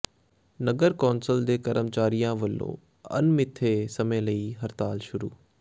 ਨਗਰ council ਦੇ ਕਰਮਚਾਰੀਆਂ ਵੱਲੋਂ ਅਣਮਿੱਥੇ ਸਮੇਂ ਲਈ ਹੜਤਾਲ ਸ਼ੁਰੂ